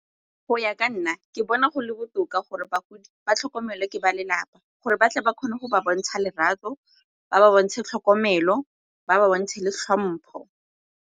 Go ya ka nna, ke bona go le botoka gore bagodi ba tlhokomelwa ke ba lelapa gore batle ba kgone go ba bontsha lerato, ba ba bontshe tlhokomelo, ba ba bontshe le tlhompho.